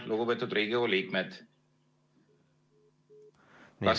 Lugupeetud Riigikogu liikmed!